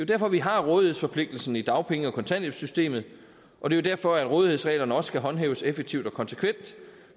derfor vi har rådighedsforpligtelsen i dagpenge og kontanthjælpssystemet og det er derfor at rådighedsreglerne også skal håndhæves effektivt og konsekvent